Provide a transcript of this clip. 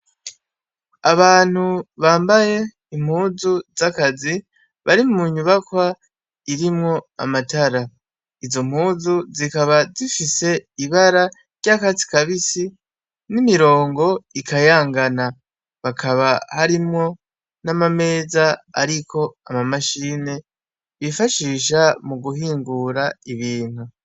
Abantu bambaye impuzu z'akazi bari mu nyubakwa irimwo amatara izo mpuzu zikaba zifise ibara ry'akatsi kabisi n'imirongo ikayangana hakaba harimwo n'amameza, ariko amamashine bifashisha mu guhingura ibintu.